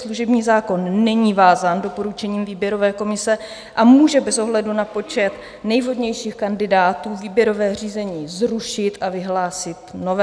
Služební zákon není vázán doporučením výběrové komise a může bez ohledu na počet nejvhodnějších kandidátů výběrové řízení zrušit a vyhlásit nové.